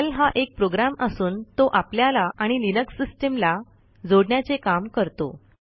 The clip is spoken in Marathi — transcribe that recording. शेल हा एक प्रोग्रॅम असून तो आपल्याला आणि लिनक्स सिस्टीमला जोडण्याचे काम करतो